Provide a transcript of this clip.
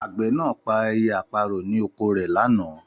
Àgbẹ̀ náà pa ẹyẹ àparò ní ọkọ rẹ̀ lánàá